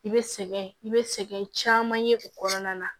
I bɛ sɛgɛn i bɛ sɛgɛn caman ye o kɔnɔna na